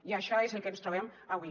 i això és el que ens trobem avui